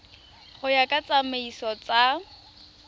go ya ka ditsamaiso tsa